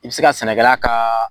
I be se ka sɛnɛkɛla ka